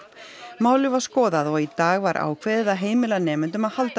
málið var skoðað og í dag var ákveðið að heimila nemendum að halda